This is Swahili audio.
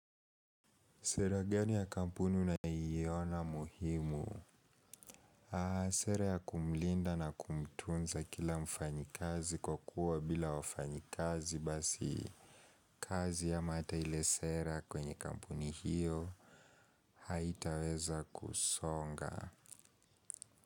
Sera gani ya kampuni na unayoina muhimu? Sera ya kumlinda na kumtunza kila mfanyi kazi kwa kuwa bila wafanyi kazi basi. Kazi ama hata ile sera kwenye kampuni hiyo haitaweza kusonga.